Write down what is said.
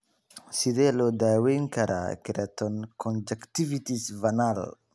Sidee loo daweyn karaa keratoconjunctivitis vernal?